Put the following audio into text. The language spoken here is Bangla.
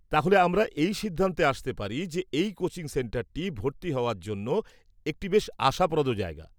তাহলে আমরা এই সিদ্ধান্তে আসতে পারি যে এই কোচিং সেন্টারটি ভর্তি হওয়ার জন্য একটি বেশ আশাপ্রদ জায়গা।